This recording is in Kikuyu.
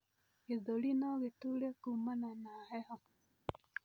gĩthũri nogituure kumana na heho